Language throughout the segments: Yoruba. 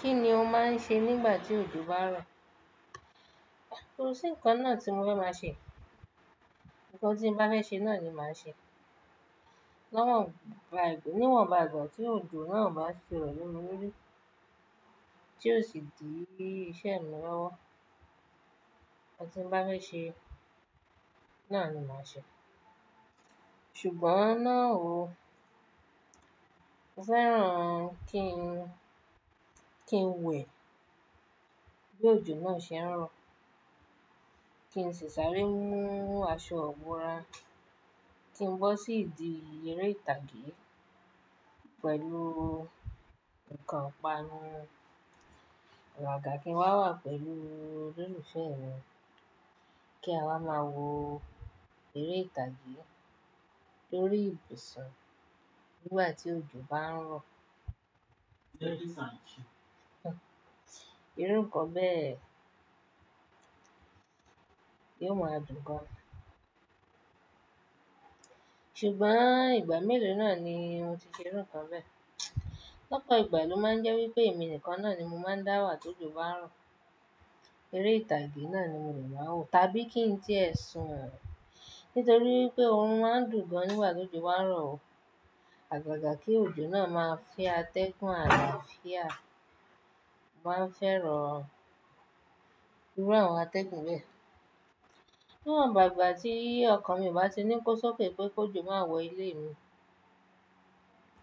Kí ni o máa ń ṣe nígbà tí òjò bá ń rọ̀? Ko sí nǹkan náà tí mo fẹ́ máa ṣe. Ǹkan tí mo bá fẹ́ ṣe náà ní màá ṣe. Niwọn bàa ìgbà tí òjò náà ò bá ti rọ̀ lemí lórí, tí ó sì dí iṣẹ́ mi lọ́wọ́, ohun tí mo bá fẹ́ ṣe náà ni màá ṣe. Ṣùgbọ́n náà o, mo fẹ́ràn kí n kí n wẹ̀ bí òjò náà ṣe ń rọ̀, kí n ṣi sáré mú aṣọ ìbora, kí n bọ́ sí idí èré ìtàgé pẹ̀lú nǹkan panu àgàgà kí n wá wà pẹ̀lú olólùfẹ́ mi kí a wá máa wò eré ìtàgé lórí ibùsùn nígbàtí òjò bá ń rọ̀. Irú kọ bẹ́ẹ̀ yíò máa dùn gan. Ṣùgbọ́n, ìgbà mélòó náà ni mo ti ṣe ìrú ìkan bẹ́ẹ̀. Lọ́pọ̀ ìgbà ló máa ń jẹ́ wípé èmi nìkan náà ni mo máa ń dá wà tí òjò bá rọ̀. Èré ìtàgé náà ni mò ní máa wò, tàbí kí n tí ẹ̀ sùn. Nítorí wípé pé òrun máa ń dùn gan nígbà tí òjò bá ń rọ̀ o. Àgàgà kí òjò náà máa fẹ́ atẹ́gùn àlàáfíà, máa n fẹ́ràn irú àwọn atẹ́gùn bẹ́ẹ̀. Níwọ̀nba igba tí ọkàn mi o bá ti ní kó sókè pé kójo máa wọ ilé mi,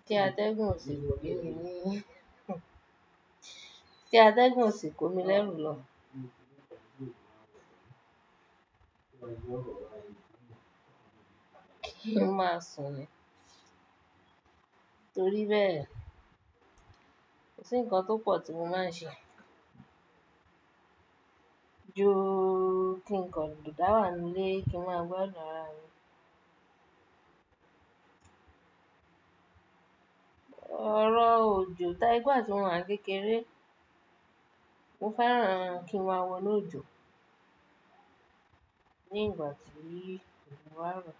tí atẹ́gùn ò sì komi lẹ́rù lọ. Kí n máa sùn ni. Torí bẹ́ẹ̀, kò sí nǹkan tó pọ̀ tí mo máa ń ṣe ju, kí n kàn dá wà nílé kí n máa gbádùn àra mí. Ọ̀rọ̀ òjò, tání pé gbà tí mo wà kékeré, mo fẹ́ràn kí n má wọ́nu ọ́jò nígbà tí òjò bá ń rọ̀,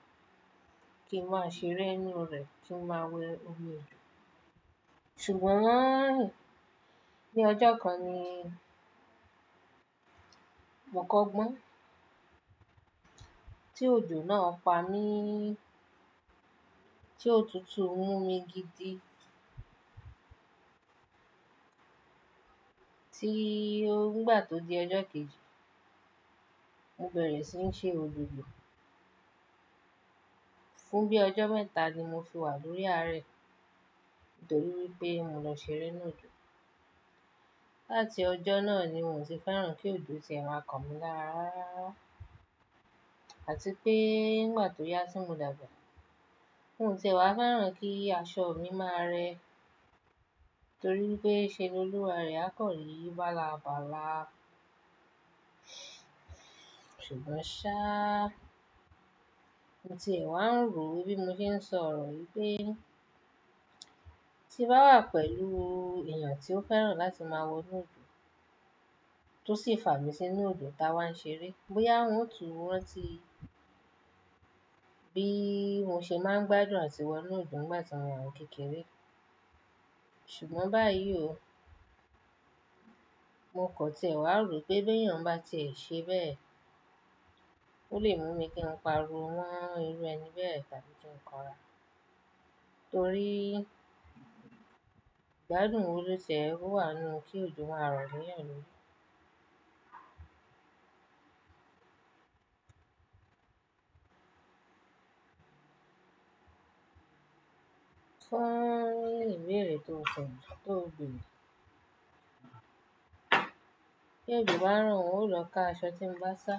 kí n máa ṣeré inú rẹ̀, kí n máa wẹ́ omi òjò. Ṣùgbọ́n, ní ọjọ́ kan ni mo kọ́gbọ́n tí òjò náà pa mí, tí òtútù mú mi gidi. Tí nígbà tó di ọjọ́ kejì, mo bẹ̀rẹ̀ sí ń ṣe ojojo. Fún bí ọjọ́ mẹ́ta ni mo fi wà lórí arẹ̀ torí wípé pé mo lọ ṣeré inú òjò. Láti ọjọ́ náà ni mi ò tì fẹ́ràn kí òjò tì ẹ máa kanmí lára rárá. Àti pé nígbà tó yá tí mò dàgbà, mò tí e wá fẹ́ràn kí aṣọ mi máa rẹ́ torí wípé ṣe l'Oluwa rẹ̀ á kọ̀rí bálá bálá. Ṣùgbọ́n ṣá, mo tiẹ wá ń rò bí mo ṣe ń sọ̀rọ̀ yìí pé tí mo bá wà pelú èèyàn tí ó fẹ́ràn láti máa wọ inú òjò tó sì fà mí sí inú òjò táa wá ń ṣeré, bóyá ó ń tùú rántí bií mo ṣe máa ń gbádùn àti wọ inú òjò nígbà tí mo wà kékeré. Ṣùgbọ́n báyìí o, mo kò tiẹ wá rò pé bí èèyàn bá tiẹ ṣe bẹ́ẹ̀, ó lè mú mi kí n pariwo mọ́ irú ẹni bẹ́ẹ̀ tàbí kí n kánra. Torí igbádùn wo ló tiẹ wà nù kí òjò máa rọ̀ leyan lori. Fún ìbéèrè tó ko, tó béèrè mi, bi òjò bá ń rọ̀ n ó lọ ká aṣọ tí n bá sá.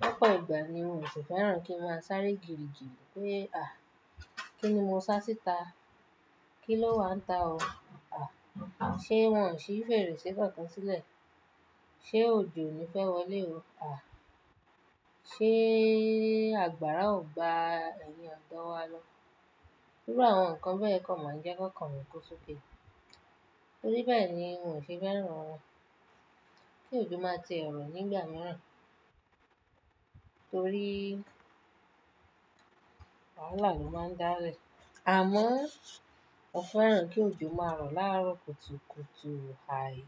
Lọ́pọ̀ ìgbà ni mi ò sì fẹ́ràn kí n máa sáré gìrìgìrí pé, "À, kí ni mo sá síta? Kí ló wà nta ọ? À, ṣé wọ́n ò ṣí fèrèsé kànkan sílẹ̀? Ṣé òjò o ni fẹ́ wọlé o? À, ṣé àgbàrá ò gba ẹ̀yin ọdọ wà lọ?" Irú àwọn nǹkan bẹ́ẹ̀ kan máa ń jẹ́ ki okan mi kó sókè. Nítorí bẹ́ẹ̀ ni mò sì fẹ́ràn kí òjò máa tì ẹ́ rọ̀ nígbà mìíràn. Nítorí wàhálà ló máa ń dá lẹ. Àmọ́ mo fẹ́ràn kí òjò máa rọ̀ láàárọ̀ kùtùkùtù, àì.